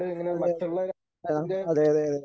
അതെ അതെ ആ അതെ അതെ അതെ.